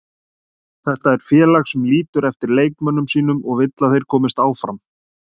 Þetta er félag sem lítur eftir leikmönnum sínum og vill að þeir komist áfram.